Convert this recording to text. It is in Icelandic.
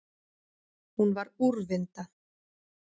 Hún var úrvinda.